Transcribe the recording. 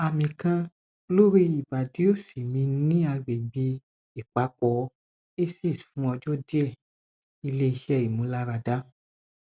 ami kan lori ibadi osi mi ni agbegbe ipapo aces fun ojo die ile ise imularada